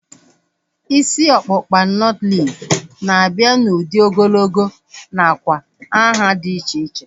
Isi ọkpụkpa nọtlees na-abịa n'udi ogologo nakwa nhá dị iche iche